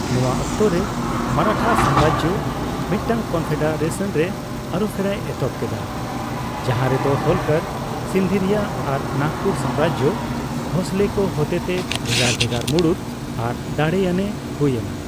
ᱱᱚᱣᱟ ᱚᱠᱛᱚᱨᱮ ᱢᱟᱨᱟᱴᱷᱟ ᱥᱟᱢᱨᱟᱡᱚ ᱢᱤᱫᱴᱟᱝ ᱠᱚᱱᱯᱷᱮᱰᱟᱨᱮᱥᱚᱱ ᱨᱮ ᱟᱹᱨᱩᱯᱷᱮᱨᱟᱭ ᱮᱛᱦᱚᱵ ᱠᱮᱫᱟ, ᱡᱟᱦᱟᱨᱮ ᱫᱚ ᱦᱳᱞᱠᱟᱨ, ᱥᱤᱱᱫᱷᱤᱨᱤᱭᱟ ᱟᱨ ᱱᱟᱜᱯᱩᱨ ᱥᱟᱢᱨᱟᱡᱚ ᱵᱷᱳᱸᱥᱞᱮ ᱠᱚ ᱦᱚᱛᱮᱛᱮ ᱵᱷᱮᱜᱟᱨ ᱵᱷᱮᱜᱟᱨ ᱢᱩᱲᱩᱫ ᱟᱨ ᱫᱟᱲᱮᱭᱟᱱᱮ ᱮ ᱦᱩᱭ ᱮᱱᱟ ᱾